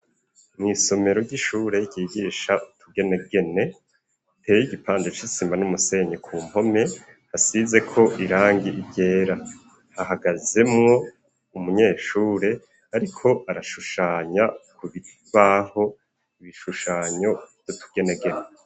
Mw'isomero ry'ishure ryigisha utugenegene iteye igipande c'isima n'umusenyi, ku mpome hasizeko irangi ryera. Hahagazemwo umunyeshure ariko arashushanya ku kibaho ibishushanyo vy'utugenegene.